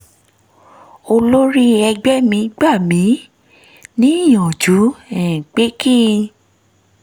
olórí ẹgbẹ́ mi gbà mí níyànjú um pé kí